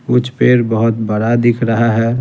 कुछ पेड़ बहुत बड़ा दिख रहा है।